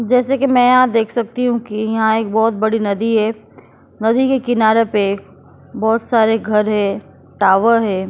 जैसे कि मैं यहां देख सकती हूं कि यहां एक बहुत बड़ी नदी है नदी के किनारे पे बहुत सारे घर है टावर है।